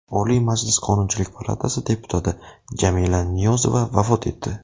Oliy Majlis Qonunchilik palatasi deputati Jamila Niyozova vafot etdi.